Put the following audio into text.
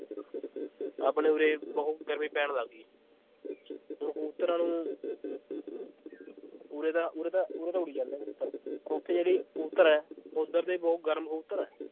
ਆਪਣੇ ਉਰੇ ਬਹੁਤ ਗਰਮੀ ਪੈਣ ਲੱਗ ਗਈ ਹੁਣ ਕਬੂਤਰਾਂ ਨੂੰ ਉਰੇ ਤਾਂ, ਉਰੇ ਤਾਂ, ਉਰੇ ਤਾਂ ਉੱਡੀ ਜਾਂਦੇ ਪਰ ਉੱਥੇ ਜਿਹੜੇ ਕਬੂਤਰ ਹੈ ਉੱਧਰ ਦੇ ਬਹੁਤ ਗਰਮ ਕਬੂਤਰ ਹੈ